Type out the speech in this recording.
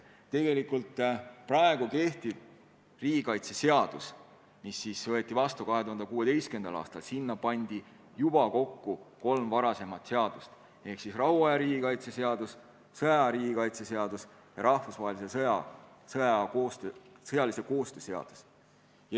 Praegu kehtiv riigikaitseseadus võeti vastu 2016. aastal ja sinna pandi kokku kolm varasemat seadust: rahuaja riigikaitse seadus, sõjaaja riigikaitse seadus ja rahvusvahelise sõjalise koostöö seadus.